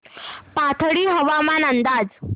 पाथर्डी हवामान अंदाज